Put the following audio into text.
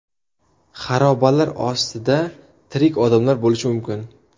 Xarobalar ostida tirik odamlar bo‘lishi mumkin.